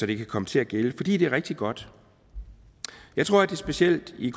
det kan komme til at gælde fordi det er rigtig godt jeg tror at det specielt i